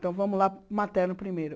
Então vamos lá, materno primeiro.